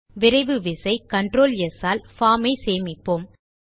விரைவு விசை control S all form ஐ சேமிப்போம்